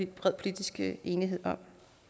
bred politisk enighed om